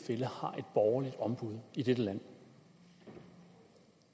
borgerligt ombud i dette land